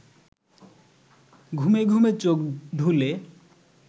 ঘুমে ঘুমে চোখ ঢুলে